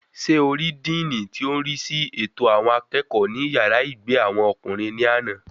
Sé o rí díìnì tí ò ń rísí ètò àwọn akẹ́kọ̀ọ́ ní yàrá ìgbé àwọn ọkùnrin ní àná?